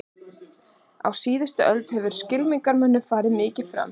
Á síðastliðinni öld hefur skylmingamönnum farið mikið fram.